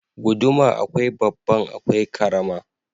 Guduma akwai babban akwai karama.